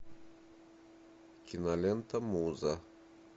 кинолента муза